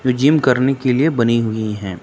Gym करने के लिए बनी हुई हैं।